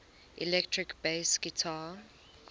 electric bass guitar